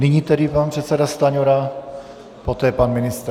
Nyní tedy pan předseda Stanjura, poté pan ministr.